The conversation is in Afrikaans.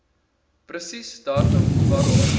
presies datum waarop